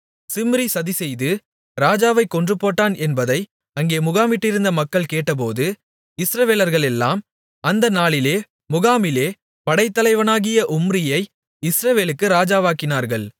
சிம்ரி சதிசெய்து ராஜாவைக் கொன்றுபோட்டான் என்பதை அங்கே முகாமிட்டிருந்த மக்கள் கேட்டபோது இஸ்ரவேலர்களெல்லாம் அந்த நாளிலே முகாமிலே படைத்தலைவனாகிய உம்ரியை இஸ்ரவேலுக்கு ராஜாவாக்கினார்கள்